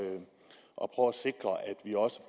vi også